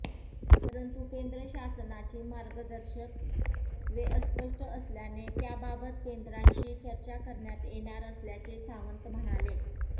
परंतु केंद्र शासनाची मार्गदर्शक तत्त्वे अस्पष्ट असल्याने त्याबाबत केंद्राशी चर्चा करण्यात येणार असल्याचे सावंत म्हणाले